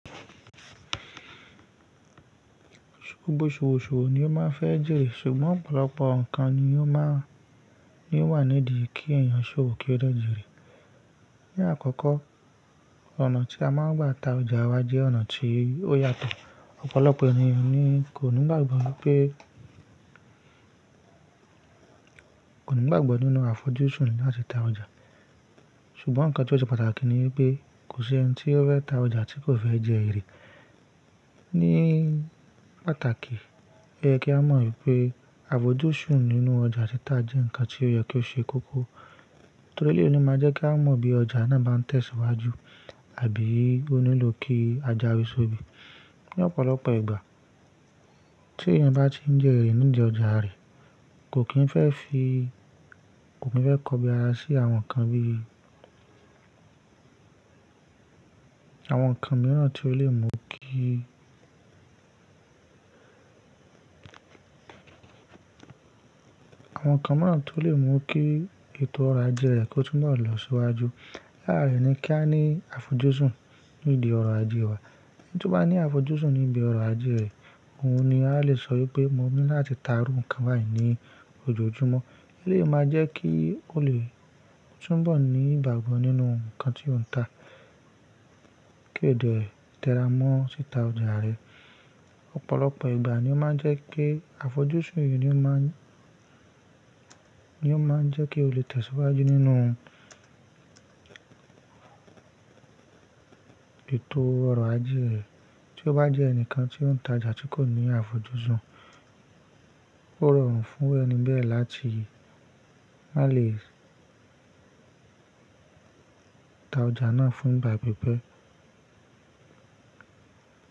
Gbogbo s'owo ṣòwò ni ó máa ń fẹ́ jèrè, ṣùgbọ́n ọ̀pọ̀lọpọ̀ nǹkan ni ó wà nídi kí ẹ̀yàn ṣòwò kí ó de jèrè. Ni àkọ́kọ́, ọ̀nà tí a máa ń gba ta ọjà wa jẹ́ ọ̀nà tí ó yàtọ̀. Ọ̀pọ̀lọpọ̀ ènìyàn ni kò ni gbogbo wipe ní gbàgbọ́ nínú àfojúsùn láti ta ọjà, ṣùgbọ́n nǹkan tí ó ṣe pàtàkì ni pé kò sí ẹni tí ó fẹ́ ta ọjà tí kò fẹ́ jẹ èrè. Ní pàtàkì, ẹ kí á mọ̀ pé àfojúsùn nínú ọjà títa jẹ́ nǹkan tí ó yẹ kí ó ṣe kókó. Torí èleyí ló máa ń jẹ́ kí a mọ̀ bí ọjà náà bá ń tẹ̀síwájú àbí ó nílò kí a jáwé so obí. Ni ọ̀pọ̀lọpọ̀ ìgbà, tí ẹ̀yàn bá ti ń jẹ èrè nínu ọjà rẹ̀, kò kí ń fẹ́e kọ kin fe ko bi ara sí àwọn nnkan bi àwọn ǹkan mìíràn tí ó lè mú kí ètò ọrọ̀ ajé rẹ̀ kó túnbọ̀ lọ síwájú. Láàárín ni kí a ní àfojúsùn nídi ọrọ̀ ajé wa. Tí ó bá ní àfojúsùn níbi ọrọ̀ ajé rẹ̀, òun ni a lè sọ pé mo ní láti ta rú nǹkan báyìí ní ojoojúmọ́. Èyí lè máa jẹ́ kí ó lè túnbọ̀ ní ìgbàgbọ́ nínú nǹkan tí ó ń ta kí ó lè tẹ́ra mọ́ títa ọjà rẹ̀. Ọ̀pọ̀lọpọ̀ ìgbà ni ó máa ń jẹ́ kí àfojúsùn yìí ni ó máa ń jẹ́ kí o lè tẹ̀síwájú nínú ètò ọrọ̀ ajé rẹ. Tí ó bá jẹ́ ẹnìkan tí ó ń ta ọjà tí kò ní àfojúsùn, ó rọrùn fún ẹni bẹ́ẹ̀ láti má lè ta ọjà náà fún ìgbà pípẹ́.